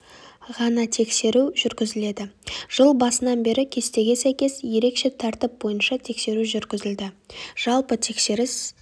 ғана тексеру жүргізіледі жыл басынан бері кестеге сәйкес ерекше тәртіп бойынша тексеру жүргізілді жалпы тексеріс